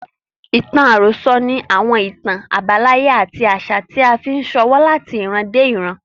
Ìtàn àròsọ ni àwọn ìtàn àbáláyé àti àṣà tí a fi ṣọwọ́ láti ìran dé ìran.